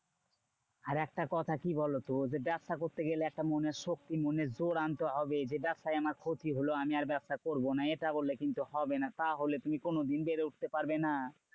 আর একটা কথা কি বলতো? যে ব্যবসা করতে গেলে একটা মনের শক্তি মনের জোর আনতে হবে। যে ব্যবসায় আমার ক্ষতি হলো আমি আর ব্যবসা করবো না। এইটা বললে কিন্তু হবে না। তাহলে তুমি কোনোদিন বেড়ে উঠতে পারবে না?